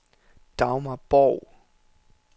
Dagmar Borg